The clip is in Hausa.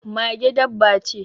Mage dabba ce.